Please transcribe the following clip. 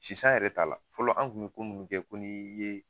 Sisan yɛrɛ t'a la fɔlɔ, an kun mi ko munnu kɛ, ko ni ye